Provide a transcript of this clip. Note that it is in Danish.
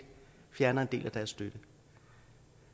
fjerner en del af deres støtte